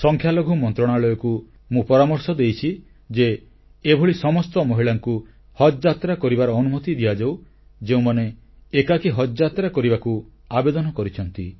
ସଂଖ୍ୟାଲଘୁ ମନ୍ତ୍ରଣାଳୟକୁ ମୁଁ ପରାମର୍ଶ ଦେଇଛି ଯେ ଏଭଳି ସମସ୍ତ ମହିଳାଙ୍କୁ ହଜଯାତ୍ରା କରିବାର ଅନୁମତି ଦିଆଯାଉ ଯେଉଁମାନେ ଏକାକୀ ହଜଯାତ୍ରା କରିବାକୁ ଆବେଦନ କରିଛନ୍ତି